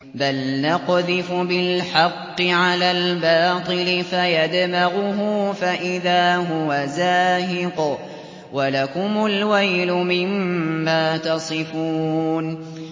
بَلْ نَقْذِفُ بِالْحَقِّ عَلَى الْبَاطِلِ فَيَدْمَغُهُ فَإِذَا هُوَ زَاهِقٌ ۚ وَلَكُمُ الْوَيْلُ مِمَّا تَصِفُونَ